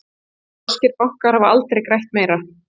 Norskir bankar hafa aldrei grætt meira